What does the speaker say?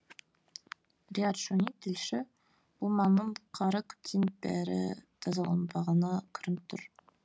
риат шони тілші бұл маңның қары көптен бері тазаланбағаны көрініп тұр